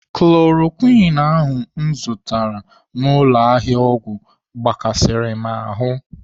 Chloroquine ahụ m zụrụ n'ụlọ ahịa ọgwụ gbakasịrị m ahụ.